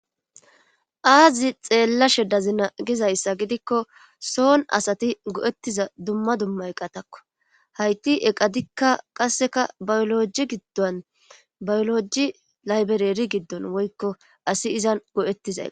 Aazi xeellashe dazina gizayssa gidikko soon asati go'ettiza dumma dumma eqatakko hayti eqadikka qasseka bayoloji giddon bayoloji laybereri giddon woykko asi izan go'ettiza.